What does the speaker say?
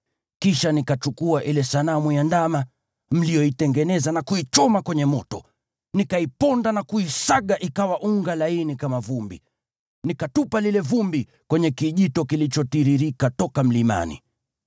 Kisha nikachukua ile sanamu ya ndama mliyoitengeneza na kuichoma kwenye moto. Nikaiponda na kuisaga ikawa unga laini kama vumbi, nikatupa lile vumbi kwenye kijito kilichotiririka toka mlimani.